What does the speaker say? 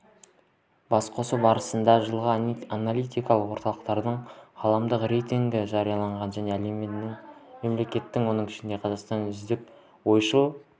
басқосу барысында жылғы аналитикалық орталықтардың ғаламдық рейтінгі жарияланды және әлемнің мемлекеті оның ішінде қазақстанның үздік ойшыл